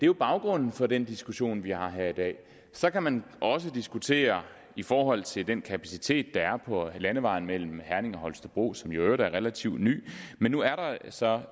jo baggrunden for den diskussion vi har her i dag så kan man også diskutere i forhold til den kapacitet der er på landevejen mellem herning og holstebro som i øvrigt er relativt ny men nu er der så